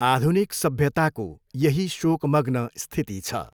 आधुनिक सभ्यताको यही शोकमग्न स्थिति छ।